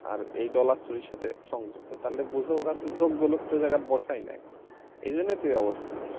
আর এই dollar চুরির সাথে সংযুক্ত তাহলে বুঝ যোগ্য লোক তো ওরা ওই জায়গায় বসায় নাই এই জন্যই তো এই অবস্থা।